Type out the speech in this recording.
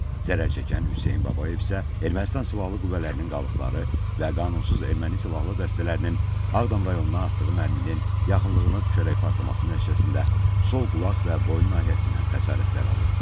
Zərərçəkən Hüseyn Babayev isə Ermənistan silahlı qüvvələrinin qalıqları və qanunsuz erməni silahlı dəstələrinin Ağdam rayonuna atdığı mərminin yaxınlığına düşərək partlaması nəticəsində sol qulaq və boyun nahiyəsindən xəsarətlər alıb.